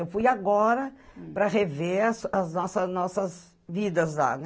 Eu fui agora para rever as nossas nossas vidas lá, né?